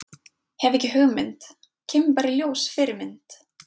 Hef ekki hugmynd, kemur bara í ljós Fyrirmynd?